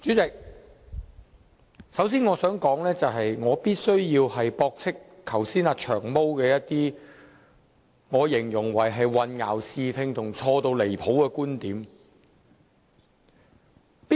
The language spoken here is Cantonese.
主席，首先我想說的是我必須駁斥"長毛"剛才一些被我形容為混淆視聽和錯得很離譜的觀點。